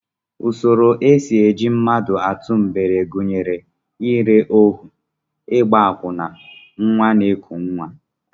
Usoro e si eji mmadụ atụ mgbere gụnyere ire ohu, ịgba akwụna, nnwa na-eku nnwa